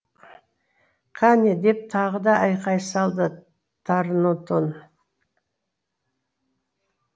кәне деп тағы да айқай салды торнотон